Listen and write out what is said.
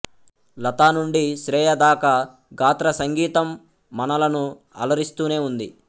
లతా నుండి శ్రేయా దాకా గాత్ర సంగీతం మనలను అలరిస్తూనే ఉంది